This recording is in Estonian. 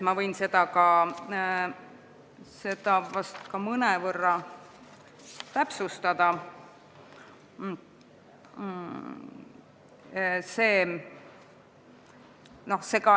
Ma võin seda ka mõnevõrra täpsustada.